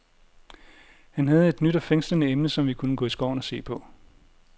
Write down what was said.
Han havde et nyt og fængslende emne, som vi kunne gå i skoven og se på.